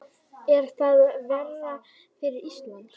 Er það verra fyrir Ísland?